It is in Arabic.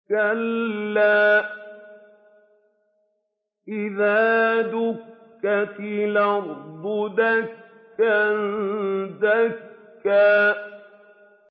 كَلَّا إِذَا دُكَّتِ الْأَرْضُ دَكًّا دَكًّا